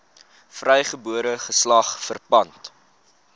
vrygebore geslag verpand